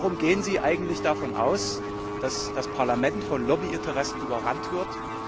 Warum gehen Sie eigentlich davon aus, dass das Parlament von Lobbyinteressen überrannt wird?